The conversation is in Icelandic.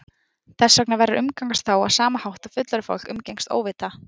Þess vegna verður að umgangast þá á sama hátt og fullorðið fólk umgengst óvita